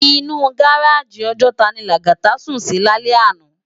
Inú gáráji Òjòtá ni Lagata sún si lálè àná